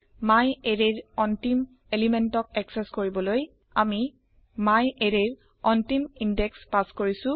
myArrayৰ অন্তিম পদাৰ্থ একচেস কৰিবলৈ আমি myArrayৰ অন্তিম ইন্দেশ পাচ কৰিছো